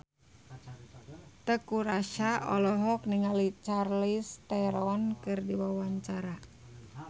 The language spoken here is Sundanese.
Teuku Rassya olohok ningali Charlize Theron keur diwawancara